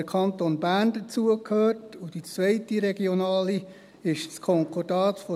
Die zweite regionale ist das Konkordat .